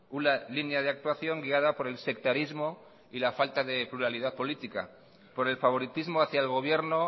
una línea de actuación guiada por el sectarismo y la falta de pluralidad política por el favoritismo hacia el gobierno